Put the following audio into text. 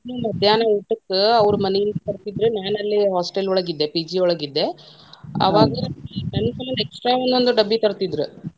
ಮಧ್ಯಾಹ್ನ ಊಟಕ್ಕ ಅವ್ರ ಮನಿಯಿಂದ ತರ್ತಿದ್ರ ನಾನ ಅಲ್ಲೆ hostel ಒಳಗ ಇದ್ದೆ PG ಒಳಗ ಇದ್ದೆ, ನನ್ನ ಸಮಂದ extra ಒಂದೊಂದ್ ಡಬ್ಬಿ ತರ್ತಿದ್ರ.